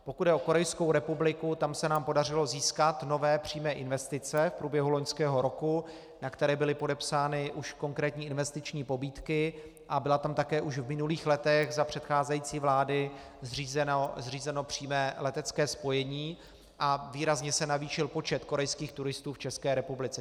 Pokud jde o Korejskou republiku, tam se nám podařilo získat nové přímé investice v průběhu loňského roku, na které byly podepsány už konkrétní investiční pobídky, a bylo tam také už v minulých letech za předcházející vlády zřízeno přímé letecké spojení a výrazně se navýšil počet korejských turistů v České republice.